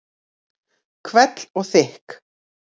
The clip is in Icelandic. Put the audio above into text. Hvell og þykk.